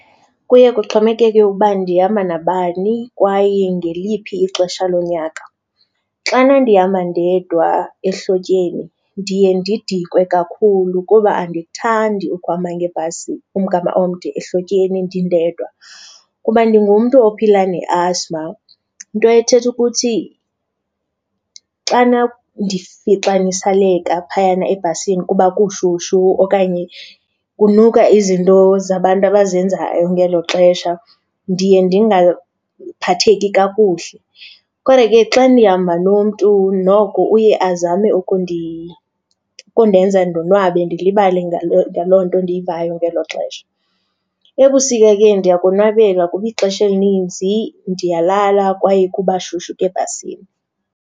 Kuye kuxhomekeke uba ndihamba nabani kwaye ngeliphi ixesha lonyaka. Xana ndihamba ndedwa ehlotyeni ndiye ndidikwe kakhulu kuba andikuthandi ukuhamba ngebhasi umgama omde ehlotyeni ndindedwa. Kuba ndingumntu ophila nge-asthma into ethetha ukuthi xana ndifixaniseleka phayana ebhasini kuba kushushu okanye kunuka izinto zabantu abazenzayo ngelo xesha, ndiye ndiphatheki kakuhle. Kodwa ke xa ndihamba nomntu noko uye azame ukundenza ndonwabe ndilibale ngaloo nto ndiyivayo ngelo xesha. Ebusika ke ndiyakonwabela kuba ixesha elininzi ndiyalala kwaye kuba shushu ebhasini.